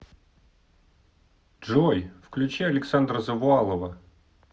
джой включи александра завуалова